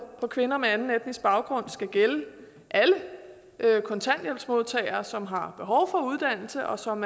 kvinder med anden etnisk baggrund skal gælde alle kontanthjælpsmodtagere som har behov for uddannelse og som